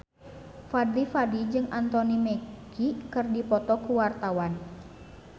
Fadly Padi jeung Anthony Mackie keur dipoto ku wartawan